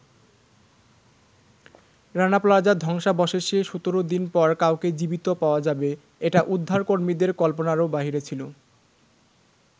রানা প্লাজার ধ্বংসাবশেষে ১৭ দিন পর কাউকে জীবিত পাওয়া যাবে, এটা উদ্ধারকর্মীদের কল্পনারও বাইরে ছিল।